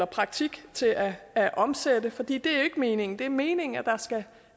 praktik til at at omsætte for det er jo ikke meningen det er meningen at der skal